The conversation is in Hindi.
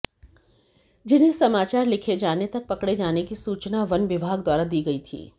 जिन्हें समाचार लिखे जानें तक पकड़े जाने की सूचना वन विभाग द्वारा दी गई थी